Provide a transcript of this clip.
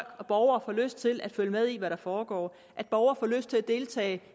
borgere får lyst til at følge med i hvad der foregår at borgere får lyst til at deltage